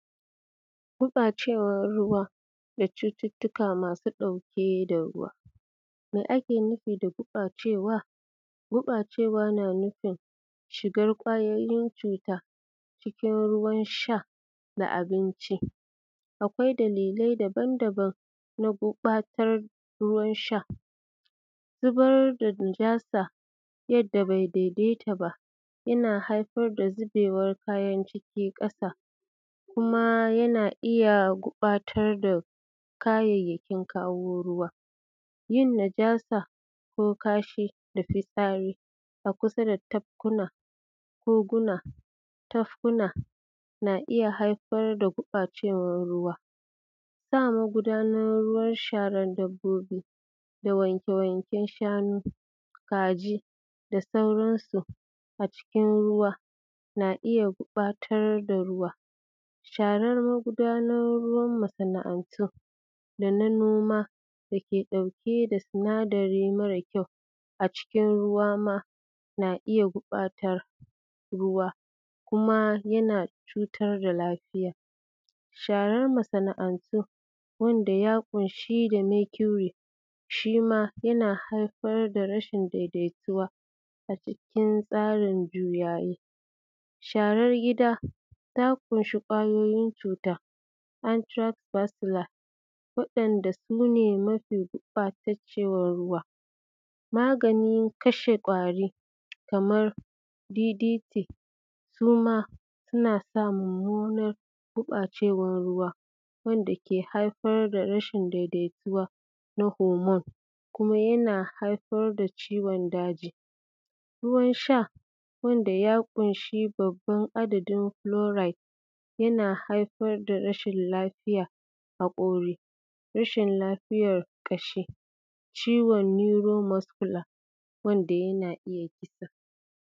Gurbacewar ruwa da cututtuka masu dauke da ruwa. Me ake nufin da gurbacewa? Gurbacewa na nufin shigar kwayoyin cuta cikin ruwan sha da abinci. Akwai dalilai daban daban na gurbatar da ruwan sha. Zubar da najasa ya da bai daidaita ba yana haifar da zubewan kayan ciki kasa kuma yana iyya gurbata kayayyakin kawo ruwa. Yin najasa ko kashi da fitsari a kusa da tafkin, koguna, tafkuna na iyya haifar da gurbawan ruwa. Sa magudanar sharan dabbobi da wanke wanke shanu, kaji da sauran su a cikin ruwa na iyya batar da ruwan. Sharan magudanar ruwan masa'antu dana dana noma dake dauke da sinadari mara a cikin ruwa ma na iyya gurbata ruwa kuma yana cutar da lafiya. sharar masa'antu wanda ya kunshi da makuri shima yana haifar da rashin daidai tuwa a cikin tsarin. Sharar gida ta kunshi kyayoyin cuta antrabasila wa’yan’da sune mafi gurbacewa ruwa. Maganin kashe kari kamar DDP Suma suna sa mumunar gurbacewar ruwa, wanda ke haifar da rashin daidai tuwa na homon kuma yana haifar da ciwon daji. Ruwan sha wanda ya kunshi babban adadin kulorid yana haifar da rashin lafiyan hakori, rashin lafiyan Kashi, ciwon nuyuro maskula wanda Yana iyya kisa.